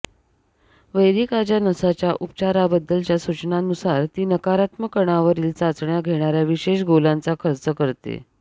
वैरिकाज्च्या नसाच्या उपचाराबद्दलच्या सूचनांनुसार ती नकारात्मक कणांवरील चाचण्या घेणार्या विशेष गोलांचा खर्च करते